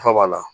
Nafa b'a la